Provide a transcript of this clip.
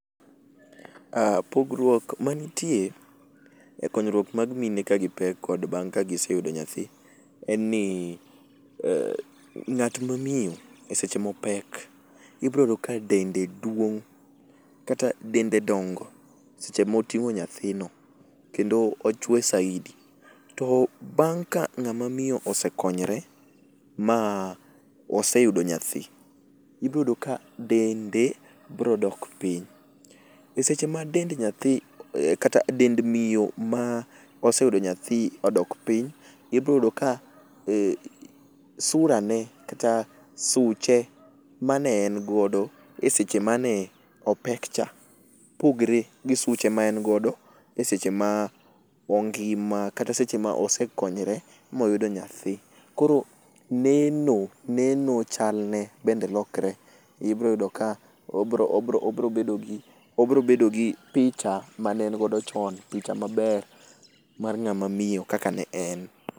aa pogruok manitie e konyruok mar mine ka gipek kod bange ka giseyudo nyathi, en ni ng'at mamiyo e seche mopek ibiro yudo ka dende duong' kata dende donge seche moting'o nyathino kendo ochue saidi to bang' ka ng'ama miyo osekonyore ma oseyudo nyathi, ibiro yudo ka dende biro dok piny,e seche a dend miyo ma oseyudo nyathi odok piny ibiro yudo ka sura ne kata suche mane en godo e seche mane opek cha pokre gi suche a en godo e seche ma ong'ima kata e seche ma osekonyore moyudo nyathi koro neno neno chalne bende lokre, ibiro yudo ka obro bedo gi picha mane en godo chon picha maber mar ngama miyo kaka ne en